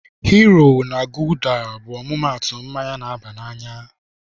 Hiro na gulda bụ ọmụmaatụ mmanya na-aba n'anya.